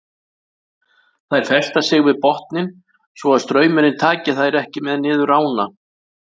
Þær festa sig við botninn svo að straumurinn taki þær ekki með niður ána.